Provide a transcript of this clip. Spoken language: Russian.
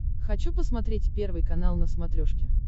хочу посмотреть первый канал на смотрешке